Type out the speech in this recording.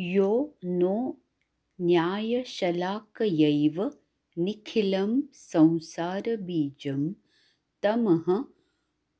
यो नो न्यायशलाकयैव निखिलं संसारबीजं तमः